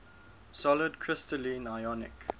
solid crystalline ionic